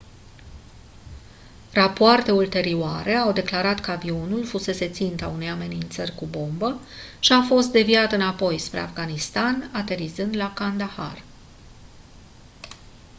rapoarte ulterioare au declarat că avionul fusese ținta unei amenințări cu bomba și a fost deviat înapoi spre afganistan aterizând la kandahar